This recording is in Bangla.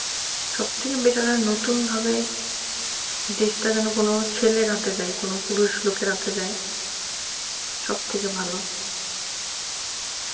সবথেকে better হয় নতুনভাবে দেশটা তা যেন যেকোনো ছেলের হাতে যায় কোনো পুরুষ লোকের হাতে যায় সবথেকে ভালো